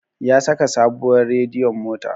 Ya saka sabuwar radiyon mota